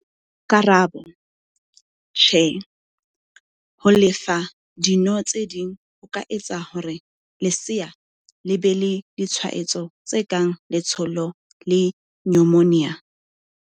Karabo- Tjhe, ho le fa dino tse ding ho ka etsa hore lesea le be le ditshwaetso tse kang letshollo le nyomonia.